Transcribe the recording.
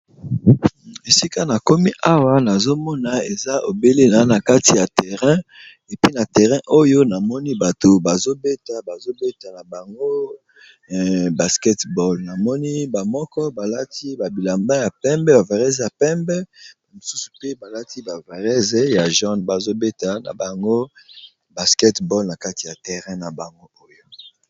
Esika na komi awa nazomona eza obelena na kati ya terrain epe na terrain oyo na moni bato bazobeta bazobeta na bango basketball na moni bamoko balati babilamba ya pembe ba varese ya pembemosusu mpe balati ba varese ya jon bazobeta na bango basketball na kati ya terrain na bango oyo.